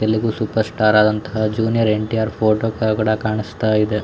Telugu superstar ಆದಂತಹ junior NTR. Photo ಕಾ ಕೂಡ ಕಾಣಿಸುತ್ತ ಇದೆ.